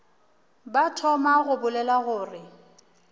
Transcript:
ba thoma go bolela gore